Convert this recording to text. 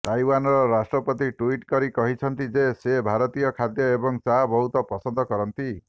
ତାଇୱାନ୍ର ରାଷ୍ଟ୍ରପତି ଟ୍ୱିଟ୍ କରି କହିଛନ୍ତି ଯେ ସେ ଭାରତୀୟ ଖାଦ୍ୟ ଏବଂ ଚା ବହୁତ ପସନ୍ଦ କରନ୍ତି